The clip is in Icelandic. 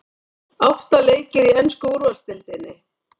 Átta leikir í ensku úrvalsdeildinni